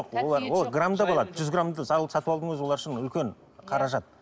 олар ол грамдап алады жүз грамды олар үшін үлкен қаражат